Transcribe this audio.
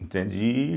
Entende? e